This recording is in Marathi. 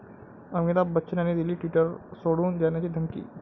अमिताभ बच्चन यांनी दिली ट्विटर सोडून जाण्याची धमकी!